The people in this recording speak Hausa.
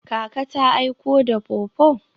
Kaka ta aiko da pawpaw?